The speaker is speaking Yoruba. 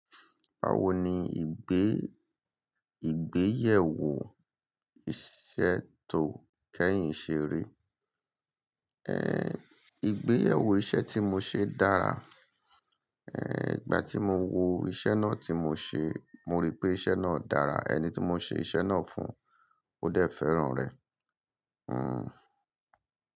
Bawo ni ìgbé, ìgbéyèwò iṣẹ tó kẹ́yìn ṣe rí? Ehn, ìgbéyèwò iṣẹ́ tí mo ṣe dára. Ehn, ìgbà tí mo wo iṣẹ́ náà tí mo ṣe, mo rí pé iṣẹ́ náà dára. Ẹni tí mo ṣe iṣẹ́ náà fún ó dẹ̀ fẹ́ràn rẹ̀. Hmm.